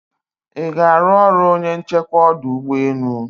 iga aru ọrụ onye nchekwa ọdụ ụgbọ enu?